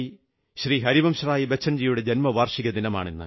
ഹരിവംശറായ് ബച്ചൻജിയുടെ ജന്മവാർഷിക ദിനമാണിന്ന്